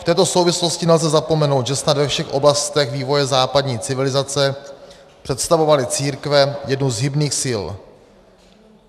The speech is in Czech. V této souvislosti nelze zapomenout, že snad ve všech oblastech vývoje západní civilizace představovaly církve jednu z hybných sil.